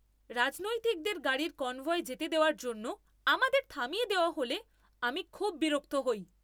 রাজনৈতিকদের গাড়ির কনভয় যেতে দেওয়ার জন্য আমাদের থামিয়ে দেওয়া হলে আমি খুব বিরক্ত হই।